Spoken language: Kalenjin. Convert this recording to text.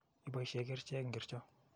Ipaishe kerchek ngorcho?